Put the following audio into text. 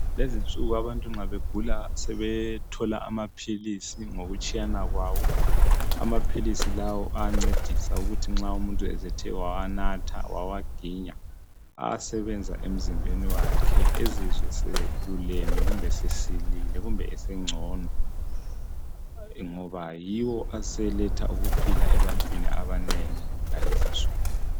Lezinsuku nxa abantu begula sebethola amaphilisi ngokutshiyana kwawo. Amaphilisi lawo, ayancedisa ukuthi nxa umuntu esethe wawanatha, wawaginya, ayasebenza emzimbeni wakhe, Ezizwe eseluleme, kumbe esesilile kumbe esengcono, ngoba yiwo aseletha ukuphila ebantwini abanengi ngalezi insuku.